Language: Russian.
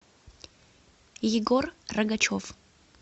егор рогачев